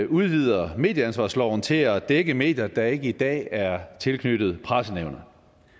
udvider medieansvarsloven til at dække medier der ikke i dag er tilknyttet pressenævnet